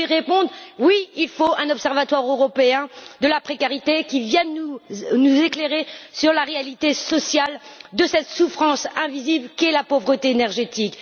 Pour y répondre, oui, il faut un observatoire européen de la précarité qui vienne nous éclairer sur la réalité sociale de cette souffrance invisible qu'est la pauvreté énergétique.